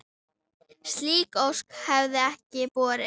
Slík ósk hefði ekki borist.